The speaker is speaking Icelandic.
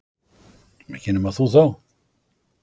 Ekki nema þú þá.